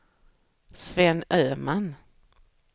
Sven Öhman